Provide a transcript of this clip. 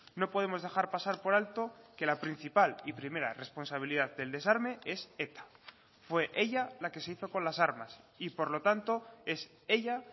no podemos dejar pasar por alto que la principal y primera responsabilidad del desarme es eta fue ella la que se hizo con las armas y por lo tanto es ella